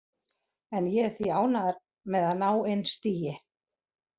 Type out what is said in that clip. En ég er því ánægður með að ná inn stigi.